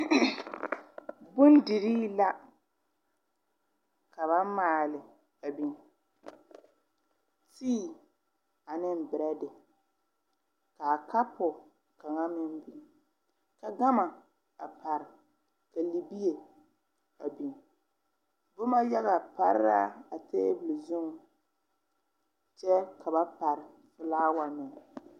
Bondirii la ka ba maale a biŋ tii aneŋ brɛde kaa kapu kaŋa meŋ biŋ ka gama a pare ka libie a biŋ bomma yaga pare la a tabol zuŋ kyɛ ka ba pare flaawa meŋ.